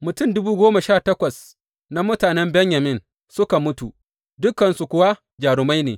Mutum dubu goma sha takwas na mutanen Benyamin suka mutu dukansu kuwa jarumai ne.